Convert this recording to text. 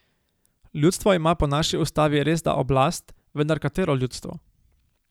Ljudstvo ima po naši ustavi resda oblast, vendar katero ljudstvo?